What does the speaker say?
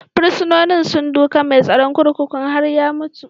Fursunonin sun duka mai tsaron kurkukun har ya mutu.